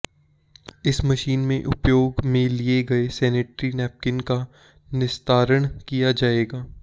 इस मशीन में उपयोग में लिए गए सेनेट्री नेपकीन का निस्तारण किया जाएगा